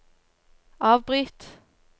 avbryt